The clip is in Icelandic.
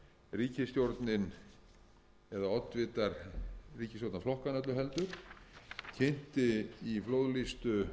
ríkisstjórnin eða oddvitar ríkisstjórnarflokkanna öllu heldur kynnti í flóðlýstu þjóðmenningarhúsinu það dugði